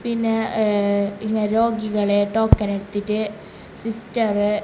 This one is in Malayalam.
പിന്നെ ഏഹ് ഇങ്ങ രോഗികളെ ടോക്കൺ എടുത്തിറ്റ് സിസ്റ്ററ് --